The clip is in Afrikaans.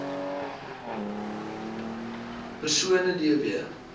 persone d w